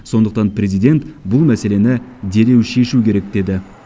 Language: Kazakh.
сондықтан президент бұл мәселені дереу шешу керек деді